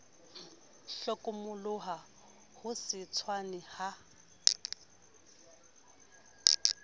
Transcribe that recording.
hlokomoloha ho se tshwane ha